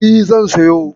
E, zan siyo.